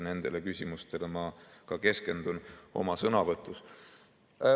Nendele küsimustele ma ka keskendun oma sõnavõtus.